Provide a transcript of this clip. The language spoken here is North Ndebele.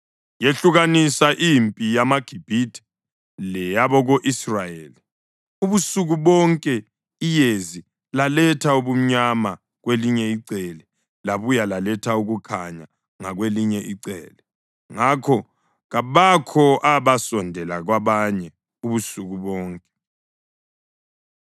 yehlukanisa impi yamaGibhithe leyabako-Israyeli. Ubusuku bonke iyezi laletha ubumnyama kwelinye icele labuye laletha ukukhanya ngakwelinye icele; ngakho kabakho abasondela kwabanye ubusuku bonke.